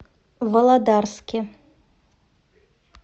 володарске